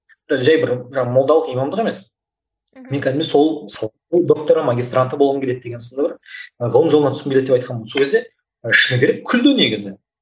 жай бір жаңағы молдалық имамдық емес мхм мен кәдімгідей сол саланың докторы магистранты болғым келеді деген сынды бір ғылым жолына түскім келеді деп айтқанмын сол кезде шыны керек күлді негізі